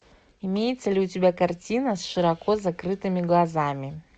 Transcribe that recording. имеется ли у тебя картина с широко закрытыми глазами